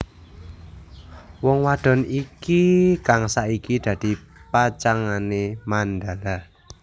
Wong wadon iki kang saiki dadi pacangané Mandala